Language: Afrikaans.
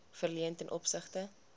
verleen ten opsigte